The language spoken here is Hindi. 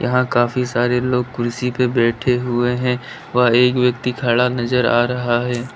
यहां काफी सारे लोग कुर्सी पर बैठे हुए हैं व एक व्यक्ति खड़ा नजर आ रहा है।